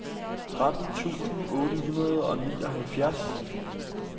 tretten tusind otte hundrede og nioghalvfjerds